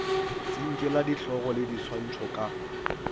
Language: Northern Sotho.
tsinkela dihlogo le diswantšho ka